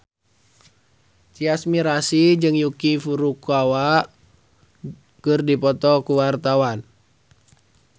Tyas Mirasih jeung Yuki Furukawa keur dipoto ku wartawan